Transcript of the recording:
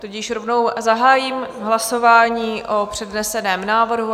Tudíž rovnou zahájím hlasování o předneseném návrhu.